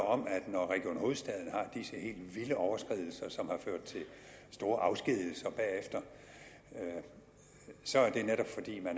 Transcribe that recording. om at når region hovedstaden har disse helt vilde overskridelser som har ført til store afskedigelser bagefter så er det netop fordi man